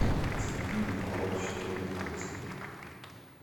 константин николаевич термихольцин